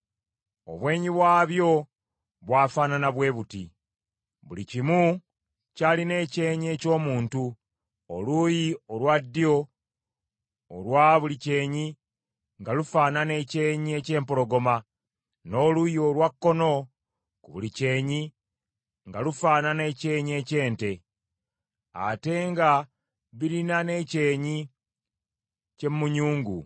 Obwenyi bwabyo bwafaanana bwe buti: Buli kimu kyalina ekyenyi eky’omuntu, oluuyi olwa ddyo olwa buli kyenyi nga lufaanana ekyenyi eky’empologoma, n’oluuyi olwa kkono ku buli kyenyi nga lufaanana ekyenyi eky’ente, ate nga birina n’ekyenyi ky’emunyungu.